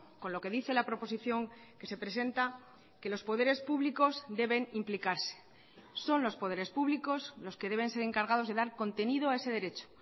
con lo que dice la proposición que se presenta que los poderes públicos deben implicarse son los poderes públicos los que deben ser encargados de dar contenido a ese derecho